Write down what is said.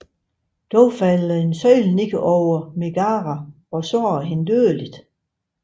Dog falder en søjle ned over Megara og sårer hende dødeligt